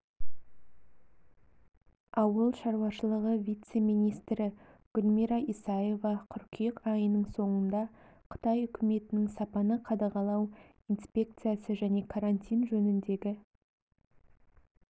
ауыл шаруашылығы вице-министрі гүлмира исаева қыркүйек айының соңында қытай үкіметінің сапаны қадағалау инспекция және карантин жөніндегі